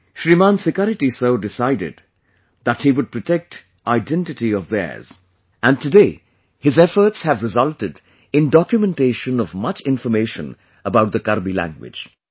Shriman Sikari Tissau decided that he would protect identity of theirs... and today his efforts have resulted in documentation of much information about the Karbi language